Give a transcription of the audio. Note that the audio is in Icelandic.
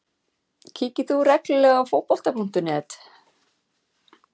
Kíkir þú reglulega á Fótbolta.net?